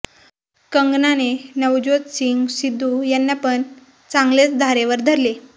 कंगनाने नवज्योत सिंग सिद्धु यांना पण चांगलेच धारेवर धरले